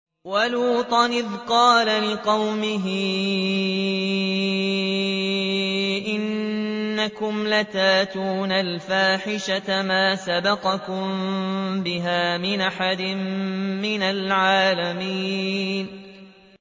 وَلُوطًا إِذْ قَالَ لِقَوْمِهِ إِنَّكُمْ لَتَأْتُونَ الْفَاحِشَةَ مَا سَبَقَكُم بِهَا مِنْ أَحَدٍ مِّنَ الْعَالَمِينَ